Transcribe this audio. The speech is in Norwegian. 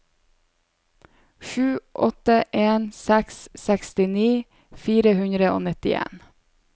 sju åtte en seks sekstini fire hundre og nittien